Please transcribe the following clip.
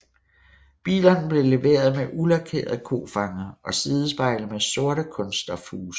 Bilerne blev leveret med ulakerede kofangere og sidespejle med sorte kunststofhuse